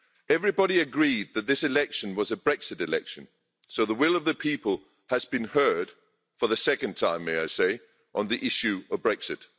Everybody agreed that this election was a Brexit election, so the will of the people has been heard for the second time, may I say, on the issue of Brexit.